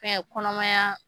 kɔnɔmaya